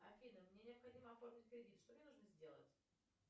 афина мне необходимо оформить кредит что мне нужно сделать